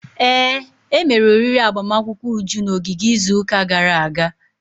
Ee, emere oriri agbamakwụkwọ Uju na ogige izuụka gara aga.